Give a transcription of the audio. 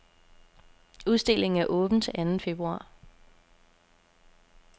Udstillingen er åben til anden februar.